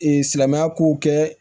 Ee silamɛya kow kɛ